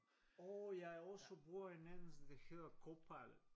Og jeg også bruger en anden der hedder Copilot